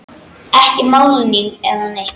Ekki málning eða neitt.